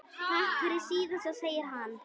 Takk fyrir síðast, segir hann.